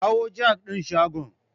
Kawo jak din shagon.